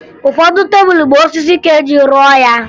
Ụfọdụ tebulu bụ osisi ka eji rụọ ya